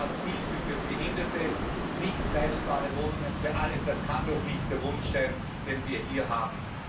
Anstatt Hilfe für Behinderte nicht leistbare Wohnungen für alle das kann doch nicht der Wunsch sein, den wir hier haben.